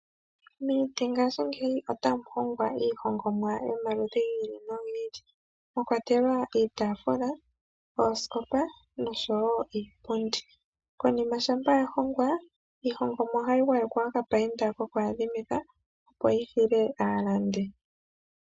Mongashingeyi otamu hongwa iihongomwa yili noyili mwakwatelwa iitaafula , oosikopa noshowoo iipundi. Konima ngele yahongwa, iilongomwa ohayi mpambekwa koku adhimika noku opaleka shono shili tashi hili aashingithwa.